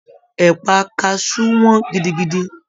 Ẹpa kasu wọn gidigidi.